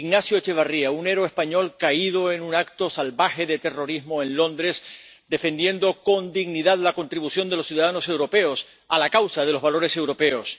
Ignacio Echevarría, un héroe español caído en un acto salvaje de terrorismo en Londres, defendiendo con dignidad la contribución de los ciudadanos europeos a la causa de los valores europeos.